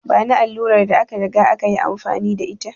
Bani allurar da aka riga aka yi amfani da ita!